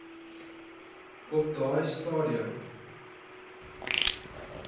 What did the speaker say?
op daai stadium